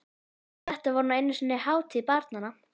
Þetta var nú einu sinni hátíð barnanna!